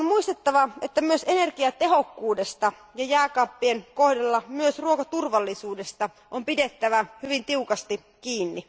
On muistettava, että myös energiatehokkuudesta, ja jääkaappien kohdalla myös ruokaturvallisuudesta, on pidettävä hyvin tiukasti kiinni.